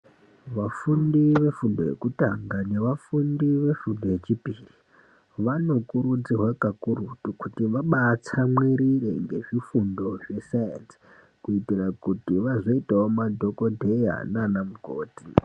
Vafundi vefundo yekutanga nevafundi vefundo yechipiri vanokurudzirwa kakurutu kuti vabaatsamwirira ngezvifundo zvesainzi kuti vazoitawo madhokoteya nana mukoti.